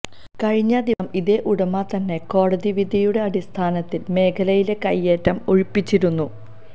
കഴിഞ്ഞ ദിവസം ഇതേ ഉടമ തന്നെ കോടതി വിധിയുടെ അടിസ്ഥാനത്തില് മേഖലയിലെ കൈയ്യേറ്റം ഒഴിപ്പിച്ചിരുന്നു